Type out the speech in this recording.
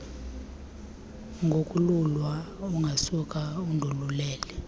ngokolulwa ungasuka undolulele